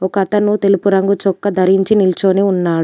ఒక అతను తెలుపు రంగు చొక్కా ధరించి నిల్చొని ఉన్నాడు.